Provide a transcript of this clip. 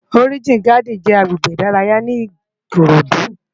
Òrijín Gádìn jè àgbégbé idàráyá ni Ikorodu